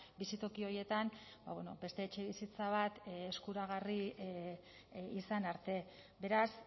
bizitoki horietan beste etxebizitza bat eskuragarri izan arte beraz